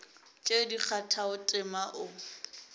tše di kgathago tema o